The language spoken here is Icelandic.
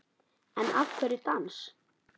En af hverju dans?